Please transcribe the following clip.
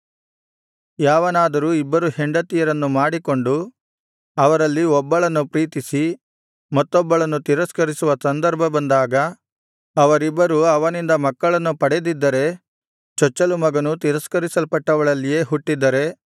ಯಾವನಾದರು ಇಬ್ಬರು ಹೆಂಡತಿಯರನ್ನು ಮಾಡಿಕೊಂಡು ಅವರಲ್ಲಿ ಒಬ್ಬಳನ್ನು ಪ್ರೀತಿಸಿ ಮತ್ತೊಬ್ಬಳನ್ನು ತಿರಸ್ಕರಿಸುವ ಸಂದರ್ಭ ಬಂದಾಗ ಅವರಿಬ್ಬರೂ ಅವನಿಂದ ಮಕ್ಕಳನ್ನು ಪಡೆದಿದ್ದರೆ ಚೊಚ್ಚಲು ಮಗನು ತಿರಸ್ಕರಿಸಲ್ಪಟ್ಟವಳಲ್ಲಿಯೇ ಹುಟ್ಟಿದ್ದರೆ